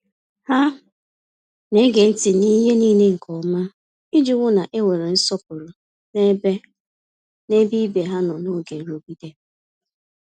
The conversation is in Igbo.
Ha na-ege ntị n’ihe niile nke ọma iji hụ na e nwere nsọpụrụ n’ebe n’ebe ibe ha nọ n’oge nrụgide.